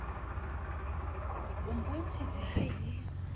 o mpontshitse ha e le